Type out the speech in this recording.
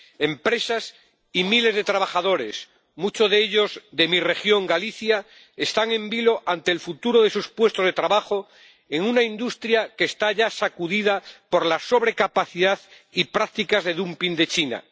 Empresas y miles de trabajadores, muchos de ellos de mi región, Galicia, están en vilo ante el futuro de sus puestos de trabajo en una industria que está ya sacudida por la sobrecapacidad y las prácticas de dumping de China.